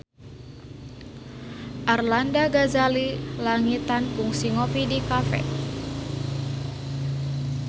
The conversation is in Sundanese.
Arlanda Ghazali Langitan kungsi ngopi di cafe